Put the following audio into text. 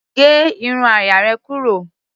Gé irun àyà rẹ̀ kúrò.